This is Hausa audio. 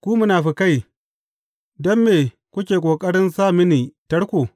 Ku munafukai, don me kuke ƙoƙarin sa mini tarko?